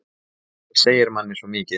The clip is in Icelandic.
Röddin segir manni svo mikið.